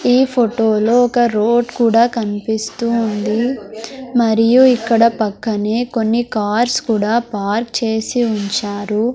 ఈ ఫొటో లో ఒక రోడ్ కూడా కన్పిస్తూ ఉంది మరియు ఇక్కడ పక్కనే కొన్ని కార్స్ కూడా పార్క్ చేసి ఉంచారు.